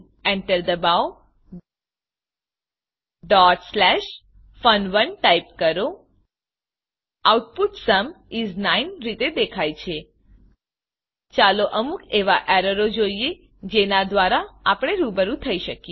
Enter enter દબાવો fun1 type કરો output sum is 9 રીતે દેખાય છે ચાલો અમુક એવાં એરરોને જોઈએ જેનાં દ્વારા આપણે રૂબરૂ થઇ શકીએ